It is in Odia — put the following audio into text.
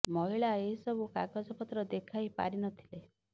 ମହିଳା ଏହି ସବୁ କାଗଜ ପତ୍ର ଦେଖାଇ ପାରି ନଥିଲେ